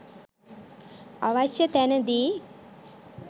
අවශ්‍ය තැනදී